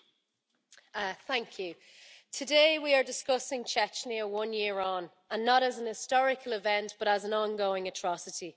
Mr President, today we are discussing Chechnya one year on, and not as an historical event but as an ongoing atrocity.